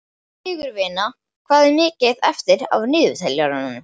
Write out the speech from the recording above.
Sigurvina, hvað er mikið eftir af niðurteljaranum?